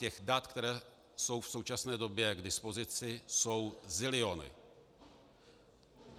Těch dat, která jsou v současné době k dispozici, jsou ziliony.